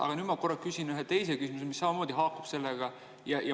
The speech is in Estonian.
Aga nüüd ma küsin ühe teise küsimuse, mis samamoodi haakub sellega.